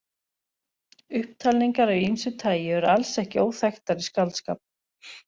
Upptalningar af ýmsu tagi eru alls ekki óþekktar í skáldskap.